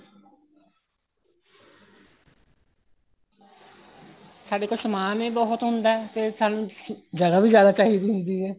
ਸਾਡੇ ਕੋਲ ਸਮਾਨ ਹੀ ਬਹੁਤ ਹੁੰਦਾ ਤੇ ਸਾਨੂੰ ਜਗ੍ਹਾ ਵੀ ਜਿਆਦਾ ਚਾਹੀਦੀ ਹੁੰਦੀ ਹੈ